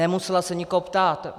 Nemusela se nikoho ptát.